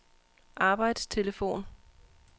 arbejdstelefon